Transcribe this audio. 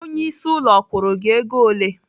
Onyeisi ụlọ ọ kwụrụ gị ego ole?